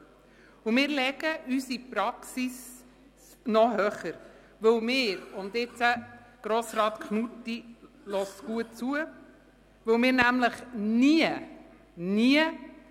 Wir legen unsere Anforderungen in der Praxis noch höher, weil wir – Grossrat Knutti, hören Sie gut zu! – nämlich nie – nie!